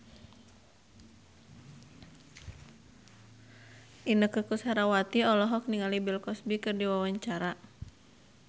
Inneke Koesherawati olohok ningali Bill Cosby keur diwawancara